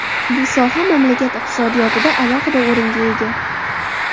Bu soha mamlakat iqtisodiyotida alohida o‘ringa ega.